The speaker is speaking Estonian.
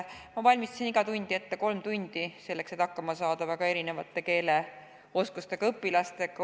Ma valmistasin igat tundi ette kolm tundi, selleks et hakkama saada väga erineva keeleoskusega õpilastega.